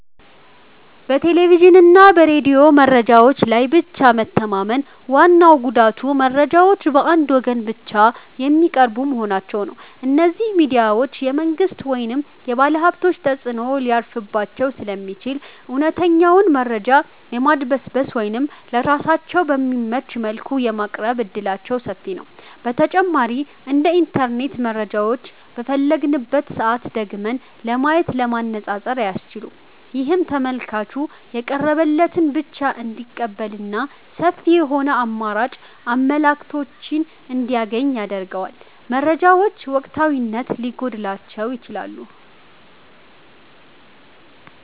በቴሌቪዥንና በሬዲዮ መረጃዎች ላይ ብቻ መተማመን ዋናው ጉዳቱ መረጃዎቹ በአንድ ወገን ብቻ የሚቀርቡ መሆናቸው ነው። እነዚህ ሚዲያዎች የመንግሥት ወይም የባለሀብቶች ተጽዕኖ ሊያርፍባቸው ስለሚችል፣ እውነተኛውን መረጃ የማድበስበስ ወይም ለራሳቸው በሚመች መልኩ የማቅረብ ዕድላቸው ሰፊ ነው። በተጨማሪም እንደ ኢንተርኔት መረጃውን በፈለግንበት ሰዓት ደግመን ለማየትና ለማነፃፀር አያስችሉም። ይህም ተመልካቹ የቀረበለትን ብቻ እንዲቀበልና ሰፊ የሆኑ አማራጭ አመለካከቶችን እንዳያገኝ ያደርገዋል። መረጃዎቹ ወቅታዊነት ሊጎድላቸውም ይችላል።